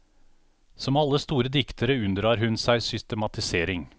Som alle store diktere unndrar hun seg systematisering.